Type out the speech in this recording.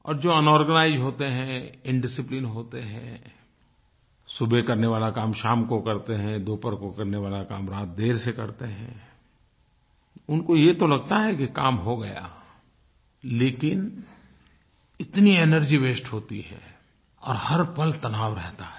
और जो अनऑर्गनाइज्ड होते हैं इंडिसिप्लिन होते हैं सुबह करने वाला काम शाम को करते हैं दोपहर को करने वाला काम रात देर से करते हैं उनको ये तो लगता है कि काम हो गया लेकिन इतनी एनर्जी वास्ते होती है और हर पल तनाव रहता है